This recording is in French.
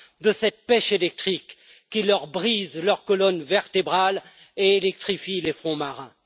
De cette pêche électrique qui brise leur colonne vertébrale et électrifie les fonds marins.